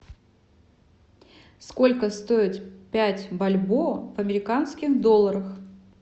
сколько стоит пять бальбоа в американских долларах